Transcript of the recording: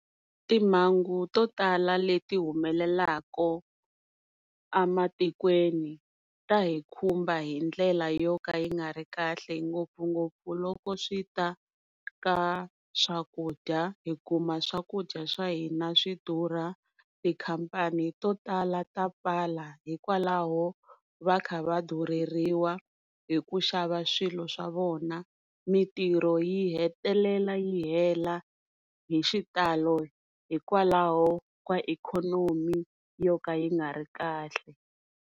Timhangu to tala leti humelelaka ematikweni ta hi khumba hi ndlela yo ka yi nga ri kahle ngopfungopfu loko swi ta ka swakudya hikuma swakudya swa hina swi durha tikhampani to tala ta pfala hikwalaho va kha va durheliwa hi ku xava swilo swa vona mintirho yi hetelela yi hela hi xitalo hikwalaho ka ikhonomi yo ka yi nga ri kahle.